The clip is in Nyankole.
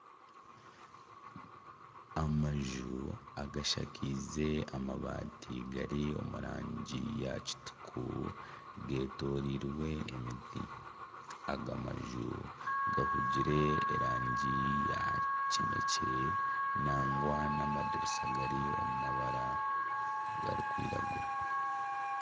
Amaju agashakaize amabaati gari omu rangi ya kituku, getoreirwe emiti, aga maju gahuugire erangi ya kinekye nangwa nana amadirisa gari omurangi erikwiragura.